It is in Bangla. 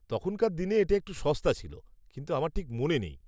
তখনকার দিনে এটা একটু সস্তা ছিল, কিন্তু আমার ঠিক মনে নেই।